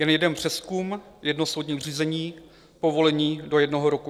Jen jeden přezkum, jedno soudní řízení, povolení do jednoho roku.